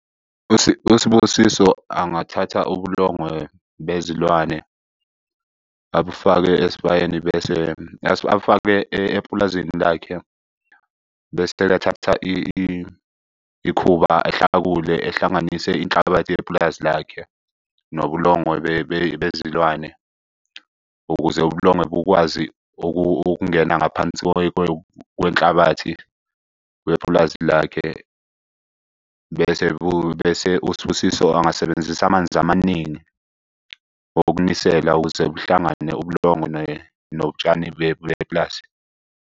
USibusiso angathatha ubulongwe bezilwane, abufake esibayeni bese, afake epulazini lakhe. Bese bethatha ikhuba ehlakule ehlanganise inhlabathi yepulazi lakhe nobulongwe bezilwane ukuze ubulongwe bukwazi ukungena ngaphansi kwenhlabathi wepulazi lakhe. Bese bese uSibusiso angasebenzisa amanzi amaningi okunisela ukuze kuhlangane ubulongwe notshani bepulazi.